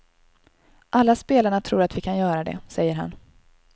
Alla spelarna tror att vi kan göra det, säger han.